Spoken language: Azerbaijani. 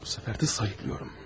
Bu səfər də sayıqlıram.